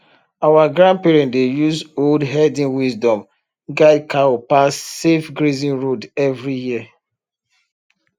our grandparent dey use old herding wisdom guide cow pass safe grazing road every year